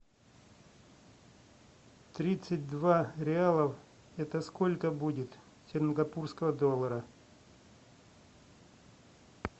тридцать два реалов это сколько будет сингапурского доллара